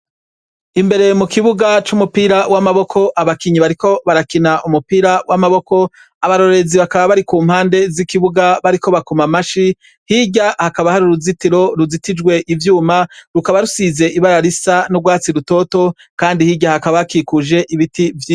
Imbere mu kibuga c'umupira w'amaboko, abakinyi bariko barakina umupira w'amaboko, abarorerezi bakaba bari ku mpande z'ikibuga bariko bakoma amashi, hirya hakaba hari uruzitiro ruzitijwe ivyuma rukaba rusize ibara risa n'urwatsi rutoto, kandi hirya hakaba hakikujwe ibiti.